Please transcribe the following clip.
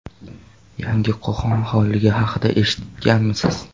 Yangi Qo‘qon xonligi haqida eshitganmisiz?